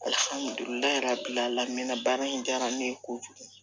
Alihamudulila mɛ baara in diyara ne ye kojugu